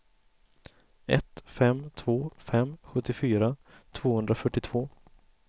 ett fem två fem sjuttiofyra tvåhundrafyrtiotvå